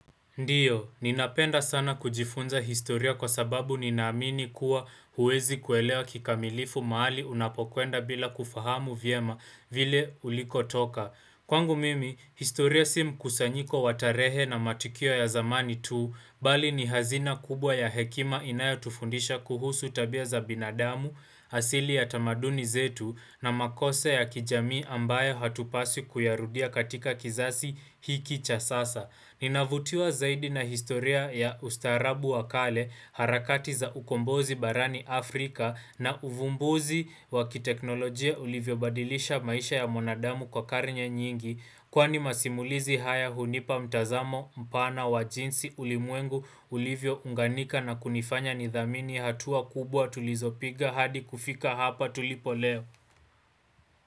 Ndio, ninapenda sana kujifunza historia kwa sababu ninaamini kuwa huwezi kuelewa kikamilifu mahali unapokwenda bila kufahamu vyema vile ulikotoka. Kwangu mimi, historia si mkusanyiko wa tarehe na matukio ya zamani tu, bali ni hazina kubwa ya hekima inayo tufundisha kuhusu tabia za binadamu, asili ya tamaduni zetu na makosa ya kijamii ambayo hatupaswi kuyarudia katika kizazi hiki cha sasa. Ninavutiwa zaidi na historia ya ustaarabu wa kale, harakati za ukombozi barani Afrika na uvumbuzi wa kiteknolojia ulivyo badilisha maisha ya mwanadamu kwa karne nyingi Kwani masimulizi haya hunipa mtazamo mpana wa jinsi ulimwengu ulivyo unganika na kunifanya nidhamini hatua kubwa tulizopiga hadi kufika hapa tulipo leo.